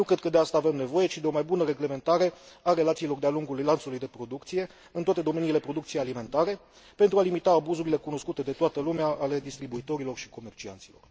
Nu cred că de asta avem nevoie, ci de o mai bună reglementare a relațiilor de a lungul lanțului de producție, în toate domeniile producției alimentare, pentru a limita abuzurile cunoscute de toată lumea ale distribuitorilor și comercianților.